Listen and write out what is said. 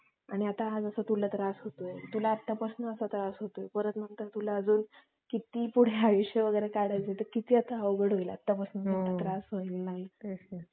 आणि हा जसा आता तुला त्रास होतोय तसा तुला आत्तापासून असा त्रास होतोय परत तुला नंतर तुला अजून किती पुढे आयुष्य वगैरे काढायचे तर किती आता अवघड होईल आत्तापासून त्रास व्हायला लागला तर